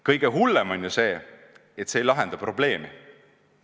Kõige hullem on ju see, et see ei lahenda probleemi.